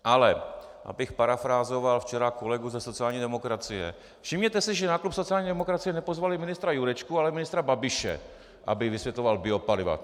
Ale abych parafrázoval včera kolegu ze sociální demokracie - všimněte si, že na klub sociální demokracie nepozvali ministra Jurečku, ale ministra Babiše, aby vysvětloval biopaliva.